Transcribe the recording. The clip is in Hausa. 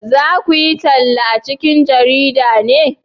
za ku yi talla a cikin jarida ne?